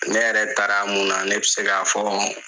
Ne yɛrɛ taara mun na, ne bɛ se k'a fɔ